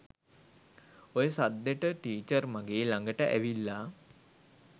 ඔය සද්දෙට ටීචර් මගෙ ළඟට ඇවිල්ලා